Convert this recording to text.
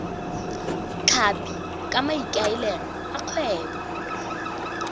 tlhapi ka maikaelelo a kgwebo